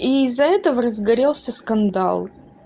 и из-за этого разгорелся скандал